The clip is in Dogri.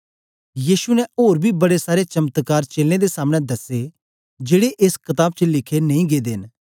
यीशु ने ओर बी बड़े सारे चमत्कार चेलें दे सामनें दसे जेड़े एस कताब च लिखे नेई गेदे न